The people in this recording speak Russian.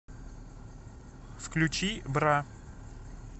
включи бра